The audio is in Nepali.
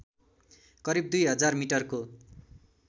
करिब दुई हजार मिटरको